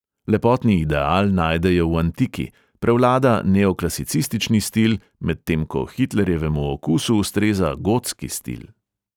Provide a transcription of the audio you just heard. Lepotni ideal najdejo v antiki, prevlada neoklasicistični stil, medtem ko hitlerjevemu okusu ustreza gotski stil.